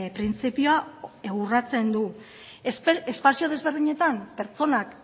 printzipioa urratzen du espazio ezberdinetan pertsonak